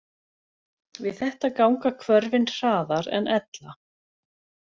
Við þetta ganga hvörfin hraðar en ella.